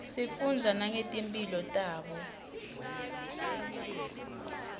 sifundza nangetimpihlo tabo